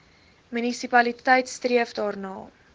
munisipaliteit streef daarna